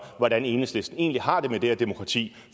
hvordan enhedslisten egentlig har det med det her demokrati